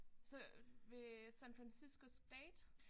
Så ved San Fransisco State?